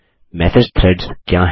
message threads क्या हैं